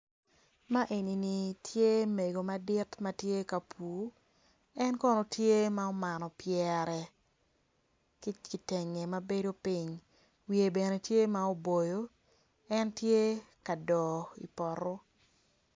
Ma enini tye mego madit ma tye ka pur en kono tye ma umano byere ki kitengge mabedo ping wiye bene tye ma uboyo en tye ka doo i poto